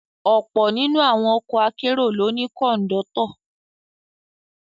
Ọ̀pọ̀ nínú àwọn ọkọ akérò ló ní Kọ̀ńdọ́tọ̀